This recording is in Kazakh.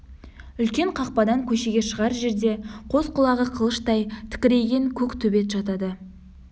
үлкен қақпадан көшеге шығар жерде қос құлағы қылыштай тікірейген көк төбет жатады